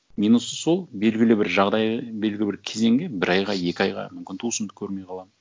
минусы сол белгілі бір жағдай белгілі бір кезеңге бір айға екі айға мүмкін туысымды көрмей қаламын